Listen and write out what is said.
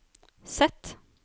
Z